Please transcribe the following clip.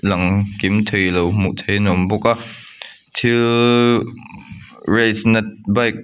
lang kim theilo hmuh theih in a awm bawk a thil race na bike --